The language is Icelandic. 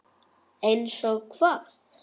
Eins og hvað?